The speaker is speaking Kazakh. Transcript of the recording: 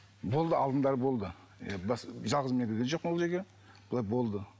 болды алдындары болды жалғыз мен кірген жоқпын ол жерге былай болды